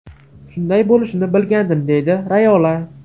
Shunday bo‘lishini bilgandim”, deydi Rayola.